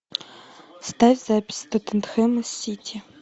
ставь запись тоттенхэма с сити